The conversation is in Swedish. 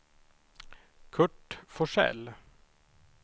Curt Forsell